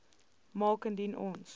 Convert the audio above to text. maak indien ons